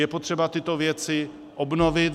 Je potřeba tyto věci obnovit.